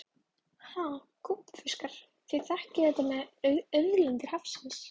Ha gúbbífiskar, þið þekkið þetta með auðlindir hafsins.